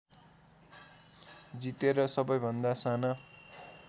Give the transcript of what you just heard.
जितेर सबैभन्दा साना